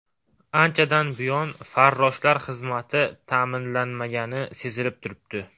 Anchadan buyon farroshlar xizmati ta’minlanmagani sezilib turibdi.